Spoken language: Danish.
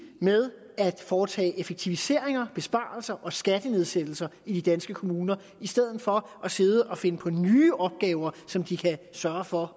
med at foretage effektiviseringer besparelser og skattenedsættelser i de danske kommuner i stedet for at sidde og finde på nye opgaver som de kan sørge for